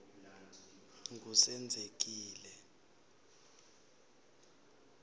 ngusenzekile